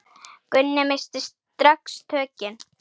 Gunni missti strax tökin.